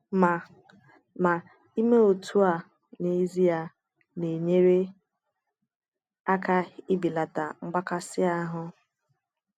Mà Mà ịmè otú à n'ezie na-enyère aka ịbelata mgbakasị ahụ.